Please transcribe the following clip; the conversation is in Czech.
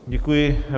Děkuji.